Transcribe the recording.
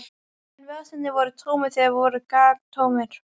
En vasarnir voru tómir, þeir voru galtómir.